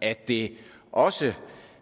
at det også